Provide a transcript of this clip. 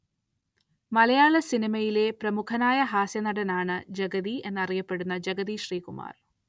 മലയാള സിനിമയിലെ പ്രമുഖനായ ഹാസ്യനടൻ ആണ് ജഗതി എന്നറിയപ്പെടുന്ന ജഗതി ശ്രീകുമാർ